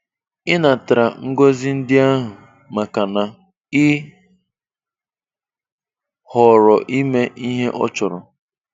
Ị natara ngọzi ndị ahụ, makana ị họọrọ ịme ihe ọ chọrọ.